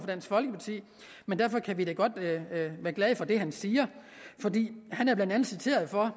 dansk folkeparti men derfor kan vi da godt være glade for det han siger for han er blandt andet citeret for